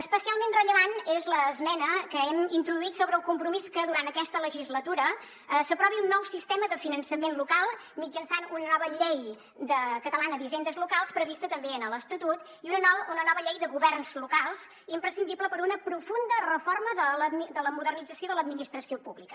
especialment rellevant és l’esmena que hem introduït sobre el compromís que durant aquesta legislatura s’aprovi un nou sistema de finançament local mitjançant una nova llei catalana d’hisendes locals prevista també en l’estatut i una nova llei de governs locals imprescindible per a una profunda reforma de la modernització de l’administració pública